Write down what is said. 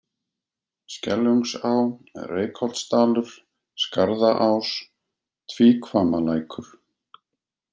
Skeljungsá, Reykholtsdalur, Skarðaás, Tvíhvammalækur